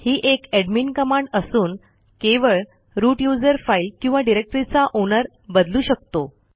ही एक admin command असून केवळ रूट यूझर फाईल किंवा डिरेक्टरीचा ओनर बदलू शकतो